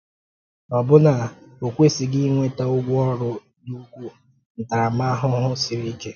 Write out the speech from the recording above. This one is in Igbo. Ọ̀ bụ na ò kwesịghị ịnwètà 'ụ̀gwọ́ òrụ́' dị ukwuu ntàramàhụhụ siri ike?